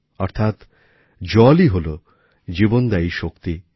অর্থাৎ জলই হল জীবনদায়ী শক্তি